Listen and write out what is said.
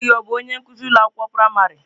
Nne gị ọ bụ onye nkuzi ụlọ akwụkwọ praịmarị?